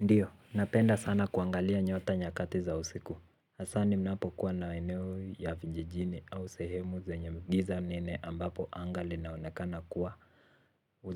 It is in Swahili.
Ndiyo, napenda sana kuangalia nyota nyakati za usiku. Hasa ninapokuwa maeneo ya vijijini au sehemu zenye giza nene ambapo anga linaonekana kuwa.